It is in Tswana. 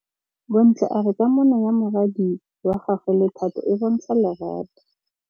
Bontle a re kamanô ya morwadi wa gagwe le Thato e bontsha lerato.